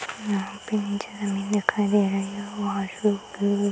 यहाँ पे नीचे ज़मीन दिखाई दे रही है और --